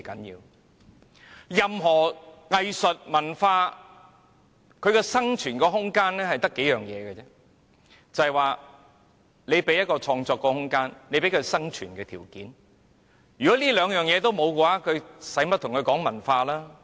任何藝術、文化的生存空間只講求兩個條件，那便是創作空間和生存條件，如不提供這兩個條件，還談甚麼文化呢？